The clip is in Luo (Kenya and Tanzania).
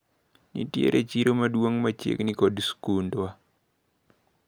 Nitiere chiro maduong` machiegni kod skundwa.